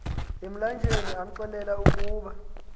emlanjeni amxelela ukuba